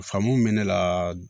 Faamu bɛ ne la